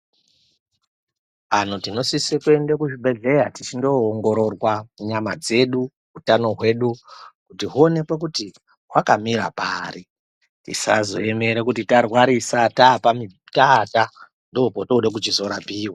Antu tinosisa kuenda kuzvibhedhlera tichindoongororwa nyama dzedu hutano hwedu kuti huonekwe kuti hwakamira pari tosazoemera tarwarisa taata ndopatinoda kuzorapiwa.